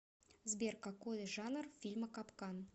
сбер какой жанр фильма капкан